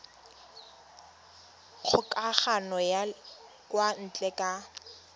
kgokagano ya kwa ntle ka